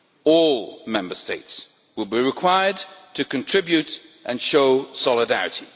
All Member States will be required to contribute and show solidarity.